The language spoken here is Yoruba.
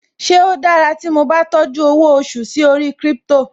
Ṣe ó dára tí mo bá tọ́jú owó oṣù sí orí Crypto?